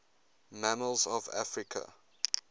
mammals of africa